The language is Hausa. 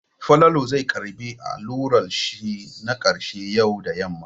Falalu zai karɓi allurar shi na ƙarshe yau da yamma.